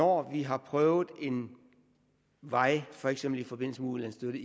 år har prøvet en vej for eksempel i forbindelse med ulandsstøtte